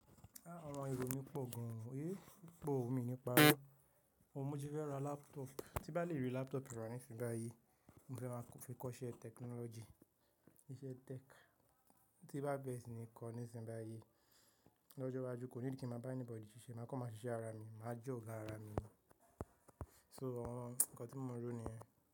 Àwọn èrò mi pọ̀ gan, eh, ó pọ̀ ọ̀ mi o níparo ó, mo ti fẹ́ ra laptop, tí bá lè rí laptop rà nísinsìnyí, mo fẹ́ máa fi kọ́ iṣẹ́ technology, iṣẹ́ tech. Tí bá bẹ́ẹ̀ sì ni kọ́ nísinsìnyí, lọ́jọ́ iwájú kò ní kí mo bá ẹni bọ̀diì ṣiṣẹ́, màá kọ́ mọ́ ṣiṣẹ́ ara mi, màá jẹ́ ọ̀gá ara mi. So àwọn ǹkan tí mo ń rò ni yẹn.